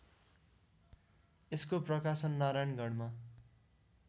यसको प्रकाशन नारायणगढमा